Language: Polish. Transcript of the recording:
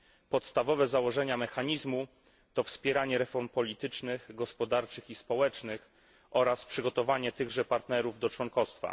Podstawowe założenia mechanizmu to wspieranie reform politycznych, gospodarczych i społecznych oraz przygotowanie tychże partnerów do członkostwa.